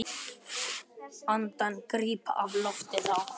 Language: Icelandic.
Andann gríp á lofti þá.